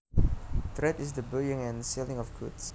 Trade is the buying and selling of goods